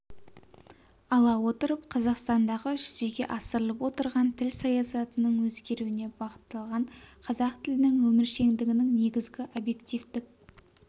ала отырып қазақстандағы жүзеге асырылып отырған тіл саясатының өзгеруіне бағытталған қазақ тілінің өміршеңдігінің негізгі объективтік